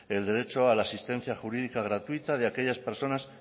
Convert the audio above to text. el derecho a la asistencia jurídica gratuita de aquellas personas